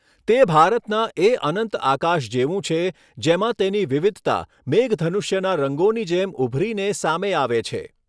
તે ભારતના એ અનંત આકાશ જેવું છે, જેમાં તેની વિવિધતા મેઘધનુષ્યના રંગોની જેમ ઉભરીને સામે આવે છે.